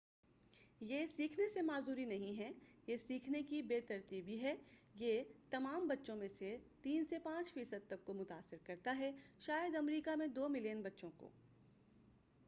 یہ سیکھنے سے معذوری نہیں ہے یہ سیکھنے کی بے ترتیبی ہے یہ تمام بچوں میں سے 3 سے 5 فی صد تک کو متاثر کرتا ہے شاید امریکہ میں 2 ملیئن بچّوں کو